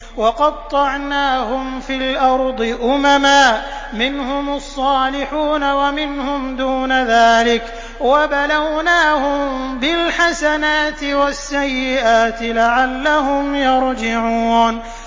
وَقَطَّعْنَاهُمْ فِي الْأَرْضِ أُمَمًا ۖ مِّنْهُمُ الصَّالِحُونَ وَمِنْهُمْ دُونَ ذَٰلِكَ ۖ وَبَلَوْنَاهُم بِالْحَسَنَاتِ وَالسَّيِّئَاتِ لَعَلَّهُمْ يَرْجِعُونَ